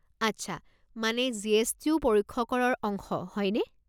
আচ্ছা মানে G S T ও পৰোক্ষ কৰৰ অংশ হয়নে?